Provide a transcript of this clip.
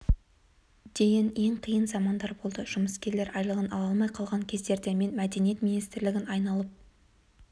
дейін ең қиын замандар болды жұмыскерлер айлығын ала алмай қалған кездерде мен мәдениет министрлігін айналып